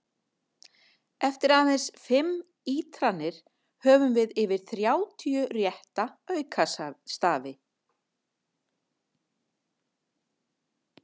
Eftir aðeins fimm ítranir höfum við yfir þrjátíu rétta aukastafi!